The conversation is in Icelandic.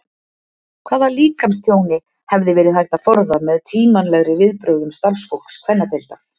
Hvaða líkamstjóni hefði verið hægt að forða með tímanlegri viðbrögðum starfsfólks kvennadeildar?